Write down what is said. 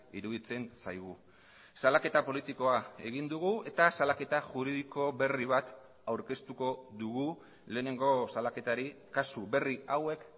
iruditzen zaigu salaketa politikoa egin dugu eta salaketa juridiko berri bat aurkeztuko dugu lehenengo salaketari kasu berri hauek